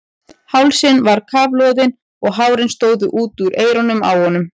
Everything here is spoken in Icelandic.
Hálsinn var kafloðinn og hárin stóðu út úr eyrunum á honum.